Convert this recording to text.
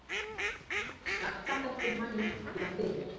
Skattahækkun mælist illa fyrir